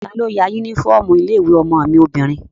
Talo ya yúnífọ́ọ̀mù ilé-ìwé ọmọ mi obìnrin?